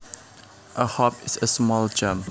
A hop is a small jump